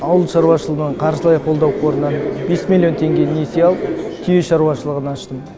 ауыл шаруашылығына қаржылай қолдау қорынан бес миллион теңге несие алып түйе шаруашылығын аштым